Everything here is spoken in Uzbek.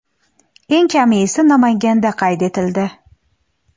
eng kami esa Namanganda qayd etildi.